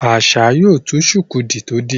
Asa yóò tú shuku tó dì